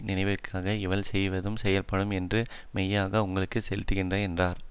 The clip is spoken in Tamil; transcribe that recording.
நினைப்பதற்காக இவள் செய்ததும் சொல்ல படும் என்று மெய்யாகவே உங்களுக்கு சொல்லுகிறேன் என்றார்